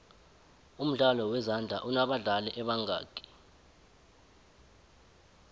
umdlalo wezandla unobadlali ebangaki